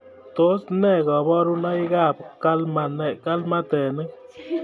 Tos ne koborunaikab kalmanetik